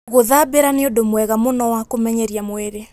Gũthambĩra nĩ ũndũ mwega mũno wa kũmenyeria mwĩrĩ.